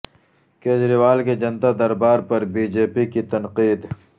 کجریوال کے جنتا دربار پر بی جے پی کی تنقید